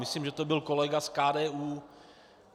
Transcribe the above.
Myslím, že to byl kolega z KDU.